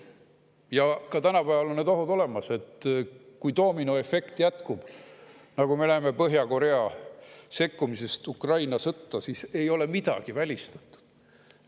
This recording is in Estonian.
Ja ka tänapäeval on need ohud olemas: kui doominoefekt jätkub, nagu me näeme Põhja-Korea sekkumisest Ukraina sõtta, siis ei ole midagi välistatud.